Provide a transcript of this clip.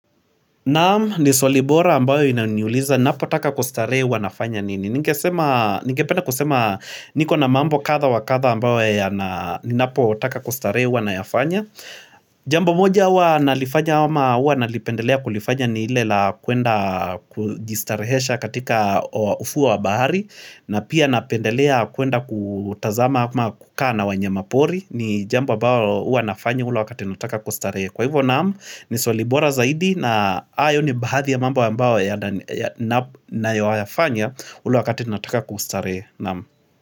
Naam ni swali bora ambayo inaniuliza, napotaka kustarehe huwa nafanya nini. Ningependa kusema niko na mambo kadha wakadha ambayo ya na ninapotaka kustarehe huwa nayafanya. Jambo moja huwa nalifanya ama, nalipendelea kulifanya ni lile la kuenda kujistarehesha katika ufuo wa bahari. Na pia napendelea kuenda kutazama ama kukaa na wanyama pori. Ni jambo ambalo huwa nafanya ule wakati nataka kustarehe. Kwa hivyo naam ni swali bora zaidi na hayo ni baadhi ya mambo ambayo nayoyawafanya ule wakati nataka kustare naam.